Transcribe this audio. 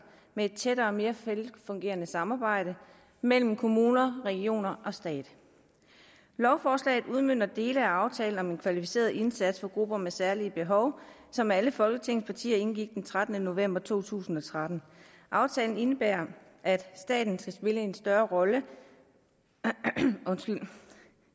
med et tættere og mere velfungerende samarbejde mellem kommuner regioner og stat lovforslaget udmønter dele af aftalen om en kvalificeret indsats for grupper med særlige behov som alle folketingets partier indgik den trettende november to tusind og tretten aftalen indebærer at staten skal spille en større rolle undskyld